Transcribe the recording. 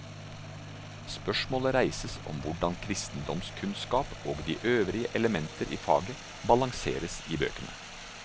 Spørsmål reises om hvordan kristendomskunnskap og de øvrige elementer i faget balanseres i bøkene.